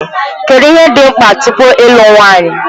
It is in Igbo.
Kedụ ihe dị mkpa tupu ịlụ nwanyị?